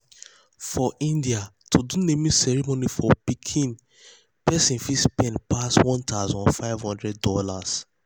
for india to do naming ceremony for pikin persin fit spend passone thousand five thousand dollars